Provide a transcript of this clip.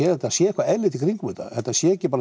þetta sé eitthvað eðlilegt í kringum þetta þetta sé ekki bara